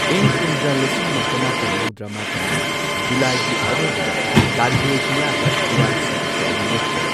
ꯏꯪ ꯀꯨꯝꯖꯥ ꯂꯤꯁꯤꯡ ꯑꯃ ꯆꯃꯥꯄꯟ ꯃꯧꯗ꯭ꯔꯥꯃꯥꯄꯟꯒꯤ ꯖꯨꯂꯥꯏꯒꯤ ꯑꯔꯣꯏꯕꯗ ꯀꯥꯔꯒꯤꯜ ꯖꯤꯂꯥꯗ ꯏꯔꯥꯡ ꯁꯥꯒꯠꯄ ꯑꯗꯨ ꯂꯦꯞꯈꯤ꯫